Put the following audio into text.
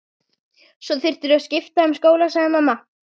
Svo þyrftirðu að skipta um skóla sagði mamma.